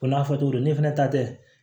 Ko n'a fɔ cogo do ne fɛnɛ ta tɛ